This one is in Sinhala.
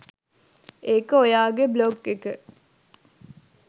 ඒක ඔයාගේ බ්ලොග් එක